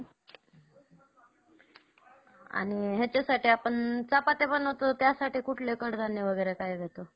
आणि हेच्यासाठी आपण चपात्या बनवतो त्यासाठी कुठलं कडधान्य वगैरे काय देतो.